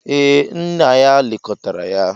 Ee, nna ya lekọtara ha.